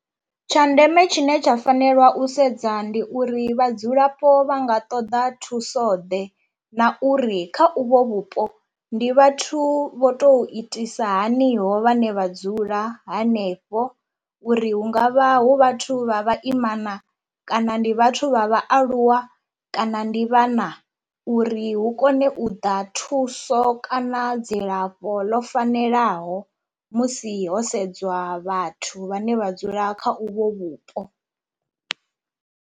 Tsha ndeme tshine tsha fanelwa u sedza ndi uri vhadzulapo vha nga ṱoḓa thuso ḓe na uri kha uvho vhupo ndi vhathu vho to itisa haniho vhane vha dzula hanefho, uri hungavha hu vhathu vha vhaimana kana ndi vhathu vha vhaaluwa kana ndi vhana uri hu kone u ḓa thuso kana dzilafho ḽo fanelaho musi ho sedzwa vhathu vhane vha dzula kha uvho vhupo.